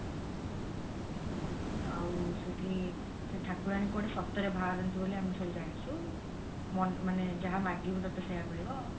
ଆଉ ସେଇଠି ସେଇ ଠାକୁରାଣୀ କୁଆଡେ ସତରେ ବାହାରନ୍ତି ବୋଲି ଆମେ ସବୁ ଜାଣିଛୁ ମନେ ମାନେ ଯାହା ମାଗିବୁ ତତେ ସେଇଆ ମିଳିବ